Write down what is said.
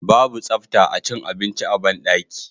babu tsafta acin abinci a banɗaki